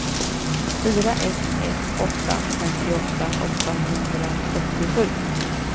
fyra ett ett åtta femtioåtta åttahundrasjuttiosju